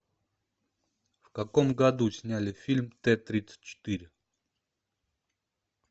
в каком году сняли фильм т тридцать четыре